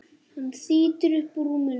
Hann þýtur upp úr rúminu.